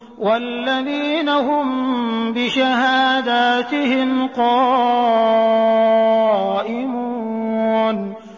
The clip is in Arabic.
وَالَّذِينَ هُم بِشَهَادَاتِهِمْ قَائِمُونَ